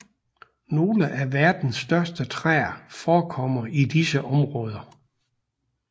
Nogle af verdens største træer forekommer i disse områder